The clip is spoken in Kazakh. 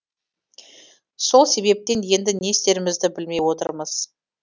сол себептен енді не істерімізді білмей отырмыз